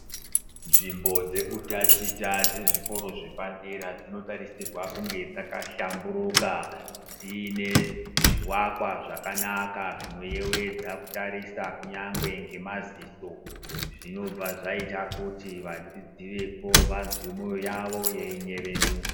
Nzvimbo dzekutachita dzezvikoro zvepadera dzinotarisirwa kunge dzkahlamburuka dziine zvivakwa zvakanaka zvinoyevedza kutarisa kunyangwe ngemadziso, zvinobva zvaita kuti vadzidzi vepo vazwe mwoyo yavo yeinyevenuka.